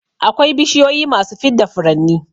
Akwai bishiyu masu fidda furanni